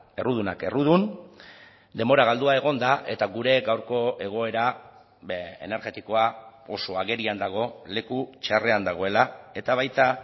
errudunak errudun denbora galdua egonda eta gure gaurko egoera energetikoa oso agerian dago leku txarrean dagoela eta baita